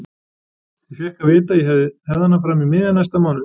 Ég fékk að vita að ég hefði hana fram í miðjan næsta mánuð.